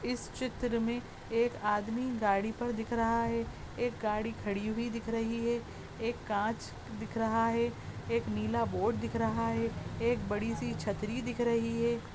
इस चित्र मे एक आदमी गाड़ी पर दिख रहा है एक गाड़ी खड़ी हुई दिख रही है एक कांच दिख रहा है एक नीला बोर्ड दिख रहा है एक बड़ी सी छतरी दिख रही है ।